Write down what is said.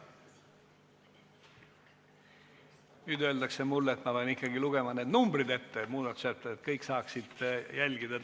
Nüüd aga öeldakse mulle, et ma pean kõik muudatussätete numbrid ikkagi ette lugema, et kõik saaksid täpselt jälgida.